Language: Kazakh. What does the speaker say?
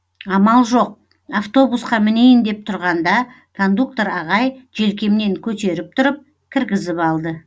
амал жоқ автобусқа мінейін деп тұрғанда кондуктор ағай желкемнен көтеріп тұрып кіргізіп алды